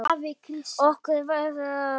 Og okkur verður rórra.